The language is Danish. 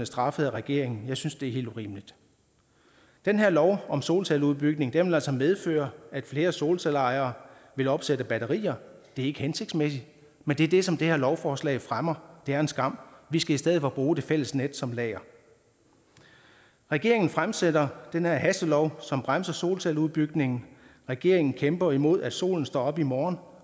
straffet af regeringen jeg synes det er helt urimeligt den her lov om solcelleudbygning vil altså medføre at flere solcelleejere vil opsætte batterier det er ikke hensigtsmæssigt men det er det som det her lovforslag fremmer det er en skam vi skal i stedet for bruge det fælles net som lager regeringen fremsætter den her hastelov som bremser solcelleudbygningen regeringen kæmper imod at solen står op i morgen